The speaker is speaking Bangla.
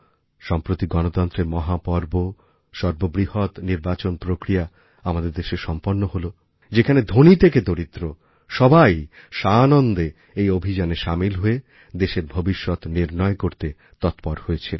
সম্প্রতি গণতন্ত্রের মহাপর্ব সর্ববৃহৎ নির্বাচন প্রক্রিয়া আমাদের দেশে সম্পন্ন হল যেখানে ধনী থেকে দরিদ্র সবাই সানন্দে এই অভিযানে সামিল হয়ে দেশের ভবিষ্যৎ নির্ণয় করতে তৎপর হয়েছিল